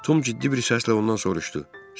Tom ciddi bir səslə ondan soruşdu: